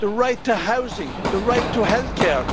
the right to housing the right to health care.